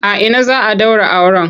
A ina za a ɗaura auren?